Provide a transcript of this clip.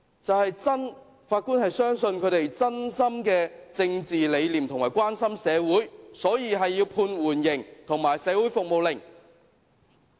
就是法官相信他們有真正的政治理念和真心關心社會，所以要判處緩刑和社會服務令。